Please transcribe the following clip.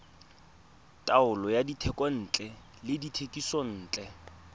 taolo ya dithekontle le dithekisontle